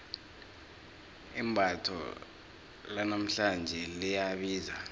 imbatho lanamhlanje liyabiza